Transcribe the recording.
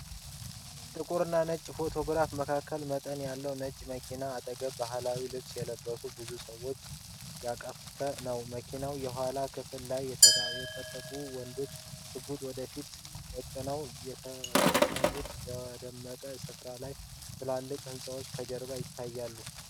ጥቁርና ነጭ ፎቶግራፍ መካከለኛ መጠን ያለው የጭነት መኪና አጠገብ በባህላዊ ልብስ የለበሱ ብዙ ሰዎችን ያቀፈ ነው። የመኪናው የኋላ ክፍል ላይ የታጠቁ ወንዶች ሽጉጥ ወደፊት ደቅነዋል። የተቀሩት በቆሙበት ስፍራ ላይ ትላልቅ ሕንፃዎች ከጀርባ ይታያሉ .